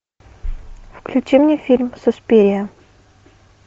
включи мне фильм суспирия